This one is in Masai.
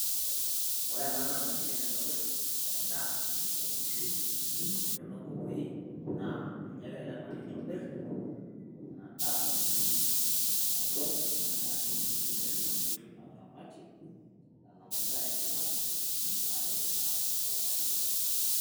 Oree ena naa emashini naidong`ito en`daa oo nkishu ashu enoo nkukui naa ninye egira ele tung`ani aitobirr. Ina daa aidong te mashini pee etumoki ataramatie aishoo nena masaa enyenak naatipika oramatie sidai.